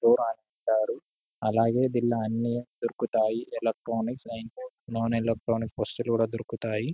store అంటారు అలాగే దీనిలో అన్ని దొరుకుతాయి ఎలక్ట్రానిక్స్ ణొన్ ఎలక్ట్రానిక్ వస్తువులు కూడా దొరుకుతాయి